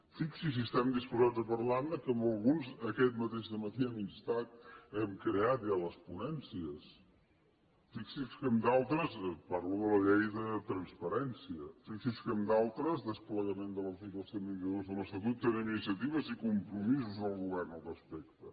fixi’s si estem disposats a parlar ne que en alguns aquest mateix matí hem creat ja les ponències parlo de la llei de transparència fixi’s que en d’altres desplegament de l’article cent i vint dos de l’estatut tenim iniciatives i compromisos del govern al respecte